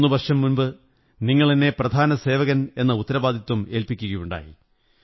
മൂന്നു വര്ഷംയ മുമ്പ് നിങ്ങളെന്നെ പ്രധാന സേവകനെന്ന ഉത്തരവാദിത്വം ഏല്പ്പി ക്കയുണ്ടായി